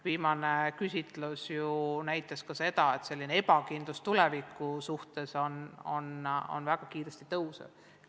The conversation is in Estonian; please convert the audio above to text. Viimane küsitlus näitas ju samuti, et ebakindlus tuleviku suhtes on väga kiiresti kasvamas.